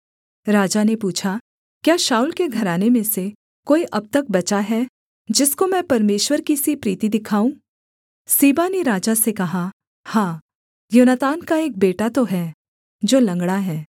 राजा ने पूछा क्या शाऊल के घराने में से कोई अब तक बचा है जिसको मैं परमेश्वर की सी प्रीति दिखाऊँ सीबा ने राजा से कहा हाँ योनातान का एक बेटा तो है जो लँगड़ा है